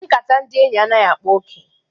Nkata ndị enyi anaghị akpa oke.